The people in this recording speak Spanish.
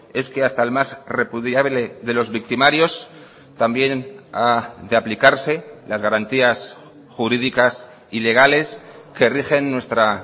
es que hasta el más repudiable de los victimarios también ha de aplicarse las garantías jurídicas y legales que rigen nuestra